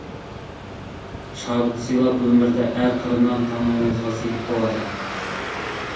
шабыт сыйлап өмірді әр қырынан тануыңызға сеп болады